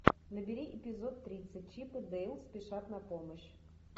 набери эпизод тридцать чип и дейл спешат на помощь